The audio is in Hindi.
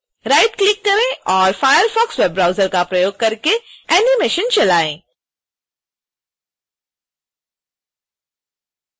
राइटक्लिक करें और firefox वेब ब्राउजर का प्रयोग करके एनीमेशन चलाएँ